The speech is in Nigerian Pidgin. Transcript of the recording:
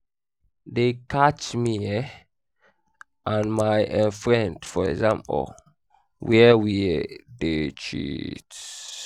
dey catch me um and my um friend for exam hall where we um dey cheat